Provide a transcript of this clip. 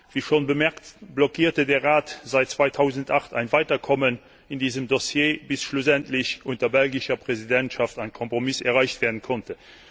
Wir schon bemerkt, blockierte der Rat seit 2008 ein Weiterkommen in diesem Dossier, bis schlussendlich unter belgischer Präsidentschaft ein Kompromiss erreicht werden konnte.